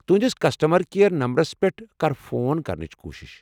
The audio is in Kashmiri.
تہنٛدس کسٹمر کیٛر نمبرس پٮ۪ٹھ کر فون کرنٕچ کوُشش۔